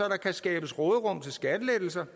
kan skabes råderum til skattelettelser